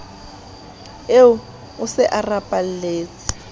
eo o se a rapaletse